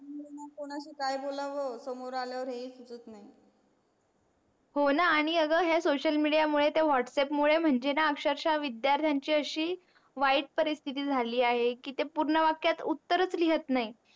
कोणाशी काय बोलाव सोमर आल्या वर हे ही सुचत नाही. हो णा आणि अग हे social media मुळे त्या whatsapp मळे म्हणजे णा अक्षरक्षा विद्यार्थ्यांची अशी वाईट परिस्थिति झाली आहे की ते पूर्ण वाक्यात उत्तरच लिहत नाही.